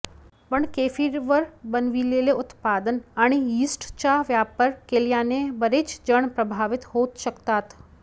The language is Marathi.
पण केफीरवर बनविलेले उत्पादन आणि यीस्टचा वापर केल्याने बरेच जण प्रभावित होऊ शकतात